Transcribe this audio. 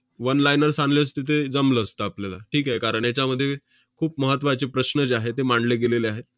one liners आणले असते, तरी जमलं असतं आपल्याला, ठीक आहे. कारण याच्यामध्ये खूप महत्त्वाचे प्रश्न जे आहेत, ते मांडले गेलेले आहेत